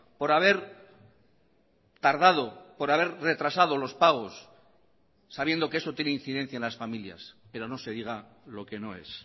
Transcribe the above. por haber tardado por haber retrasado los pagos sabiendo que eso tiene incidencia en las familias pero no se diga lo que no es